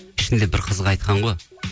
ішінде бір қызға айтқан ғой